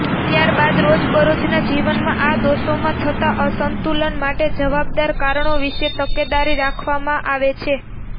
ત્યારબાદ રોજબરોજનાં જીવનમાં આ દોષોમાં થતાં અસંતુલન માટે જવાબદાર કારણો વીશે તકેદારી રાખવામાં આવે છે